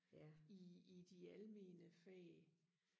i i de almene fag